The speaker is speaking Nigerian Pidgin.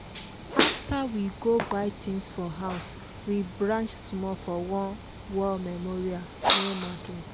after we go buy things for house we branch small for one war memorial near market.